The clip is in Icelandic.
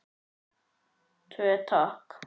Tvo, takk!